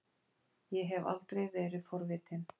Ég hef aldrei verið forvitin.